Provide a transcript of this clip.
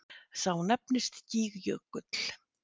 Sá nefnist Gígjökull.